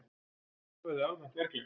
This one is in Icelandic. Það verði almennt verklag.